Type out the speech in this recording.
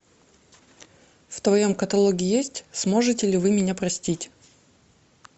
в твоем каталоге есть сможете ли вы меня простить